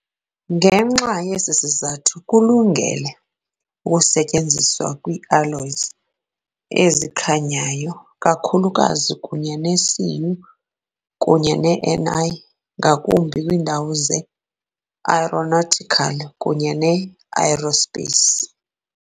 Ngenxa yesi sizathu kulungele ukusetyenziswa kwii-alloys ezikhanyayo, kakhulukazi kunye neCu kunye ne-Ni, ngakumbi kwiindawo ze-aeronautical kunye ne-aerospace.